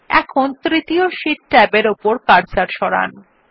এখন তৃতীয় শীট ট্যাবের উপর কার্সারটি সরান